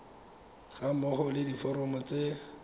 ga mmogo le diforomo tse